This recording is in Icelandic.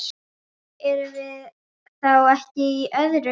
Erum við þá ekki í öðru?